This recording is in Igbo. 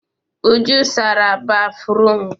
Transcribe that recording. Uju sara béfrụm.